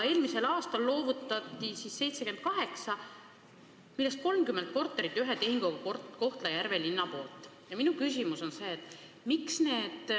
Eelmisel aastal loovutati 78 korterit, millest 30 korterit loovutas Kohtla-Järve linn ühe tehinguga.